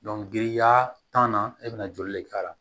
giriya tanna e bɛna joli de k'a la